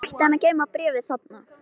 Af hverju ætti hann að geyma bréfið þar?